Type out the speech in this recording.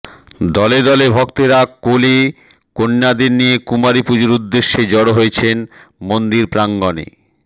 দলে দলে ভক্তেরা কোলে কন্যাদের নিয়ে কুমারী পুজোর উদ্দেশ্যে জড়ো হয়েছেন মন্দির প্রাঙ্গণে